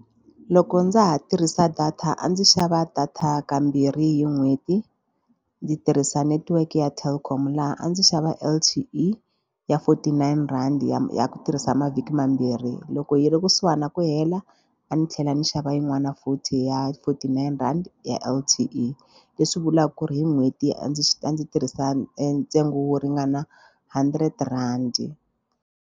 Loko ndza ha tirhisa data a ndzi xava data kambirhi hi n'hweti ndzi tirhisa netiweke ya Telkom laha a ndzi xava L_T_E ya forty nine rand ya ya ku tirhisa mavhiki mambirhi loko yi hi ri kusuhani na ku hela a ni tlhela ni xava yin'wana forty ya forty nine rand ya L_T_E leswi vulaka ku ri hi n'hweti a ndzi a ndzi tirhisa ntsengo wo ringana hundred rand.